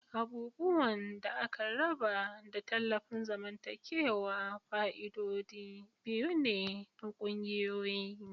Abubuwan da aka raba da tallafin zamantakewa fa'idodi biyu ne na ƙungiyoyi.